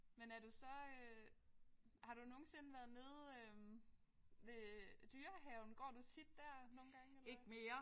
Men er du så øh har du nogensinde været nede øh ved øh Dyrehaven. Går du tit der nogle gange eller hvad?